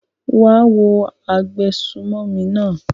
wá á wo agbésùmọ̀mí náà!